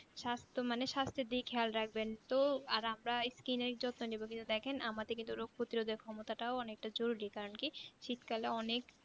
সাস্ত্ব মানে সস্তর দিকে খেয়াল রাখবেন তো আর আমরা Skin এর যত্ন নেবো কিন্তু দেখেন আমাদিকে তো রোগ প্রতিরোধের ক্ষমতাটাও অনেকটা জরুরি কারণ কি শীতকালে অনেক